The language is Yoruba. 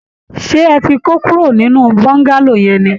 Ṣé ẹ ti kó kúrò nínú Bọ́ńgálò yẹn ni?